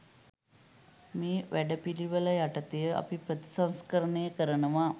මේ වැඩ පිළිවෙල යටතේ අපි ප්‍රතිසංස්කරණය කරනවා.